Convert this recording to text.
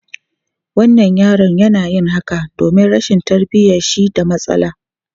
Wannan yaron yana yin haka domin rashin tarbiyyar shi da matsala.